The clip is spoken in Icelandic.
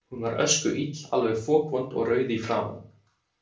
Hún var öskuill, alveg fokvond og rauð í framan.